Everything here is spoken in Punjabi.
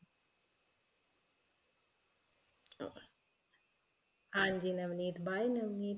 ਹਾਂਜੀ ਨਵਨੀਤ bye ਨਵਨੀਤ